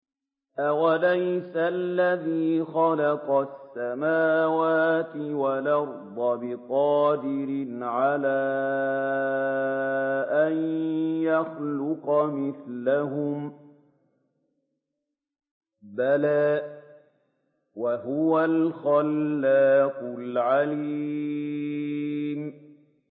أَوَلَيْسَ الَّذِي خَلَقَ السَّمَاوَاتِ وَالْأَرْضَ بِقَادِرٍ عَلَىٰ أَن يَخْلُقَ مِثْلَهُم ۚ بَلَىٰ وَهُوَ الْخَلَّاقُ الْعَلِيمُ